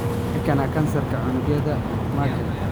Maxaa keena kansarka unugyada Merkel?